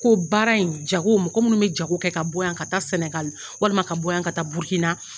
Ko baara in jago mɔgɔ minnu bɛ jago kɛ ka bɔ yan ka taa Sɛnɛgali walima ka bɔ yan ka taa Burukina.